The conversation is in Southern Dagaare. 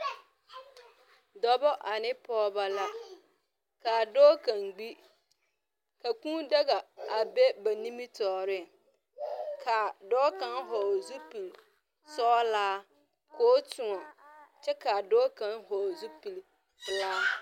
Dͻbͻ ane pͻgebͻ la. Kaa dͻͻ kaŋ gbi. Ka kũũ daga a be ba nimitͻͻreŋ. Kaa dͻͻ kaŋa vͻgele zupili-sͻgelaa koo tõͻ kyԑ kaa dͻͻ kaŋ vͻgele zupili-pelaa.